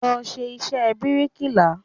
Lọ ṣe iṣẹ́ bíríkìlà!